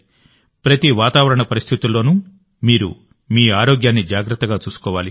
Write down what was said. ప్రతి వాతావరణ పరిస్థితుల్లోనూ మీరు మీ ఆరోగ్యాన్ని జాగ్రత్తగా చూసుకోవాలి